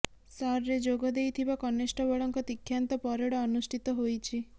ର୍ସରେ ଯୋଗ ଦେଇଥିବା କନେଷ୍ଟବଳଙ୍କ ଦୀକ୍ଷାନ୍ତ ପରେଡ ଅନୁଷ୍ଠିତ ହୋଇଛି